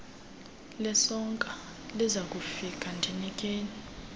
lesoka lizakufika ndinikeni